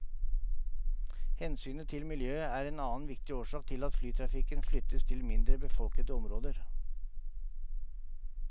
Hensynet til miljøet er en annen viktig årsak til at flytrafikken flyttes til mindre befolkede områder.